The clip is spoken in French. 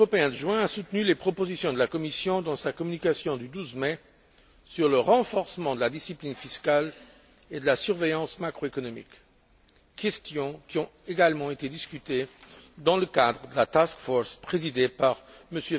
Le Conseil européen de juin a soutenu les propositions présentées par la Commission dans sa communication du 12 mai sur le renforcement de la discipline fiscale et de la surveillance macroéconomique, questions qui ont également été discutées dans le cadre de la task force présidée par M.